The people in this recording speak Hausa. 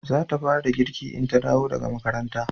za ta fara girki in ta dawo daga makaranta